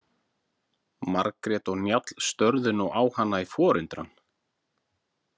Margrét og Njáll störðu nú á hana í forundran.